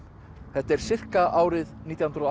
þetta er sirka árið nítján hundruð og